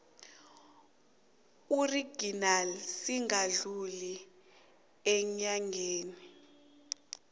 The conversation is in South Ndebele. original singadluli eenyangeni